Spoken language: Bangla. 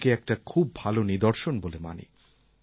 আমি একে একটা খুব ভাল নিদর্শন বলে মানি